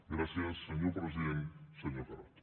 gràcies senyor president senyor carod